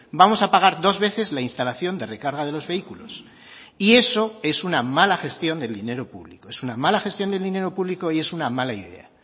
vamos a pagar dos veces la instalación de recarga de los vehículos y eso es una mala gestión del dinero público es una mala gestión del dinero público y es una mala idea